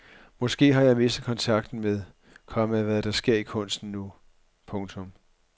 Måske har jeg mistet kontakten med, komma hvad der sker i kunsten nu. punktum